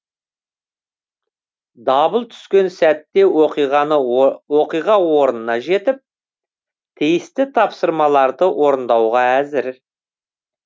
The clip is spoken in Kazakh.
дабыл түскен сәтте оқиға орнына жетіп тиісті тапсырмаларды орындауға әзір